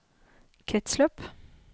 kretsløp